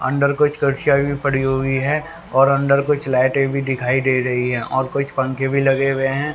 अंदर कुछ कुर्सियां भी पड़ी हुई हैं और अंदर कुछ लाइटे भी दिखाई दे रही है और कुछ पंखे भी लगे हुए हैं।